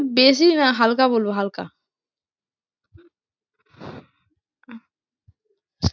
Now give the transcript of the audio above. বেশি না হালকা বলবো হালকা